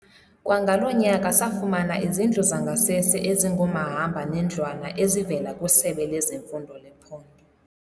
"Kwangalo nyaka, safumana izindlu zangasese ezingomahamba nendlwana ezivela kwiSebe lezeMfundo lephondo."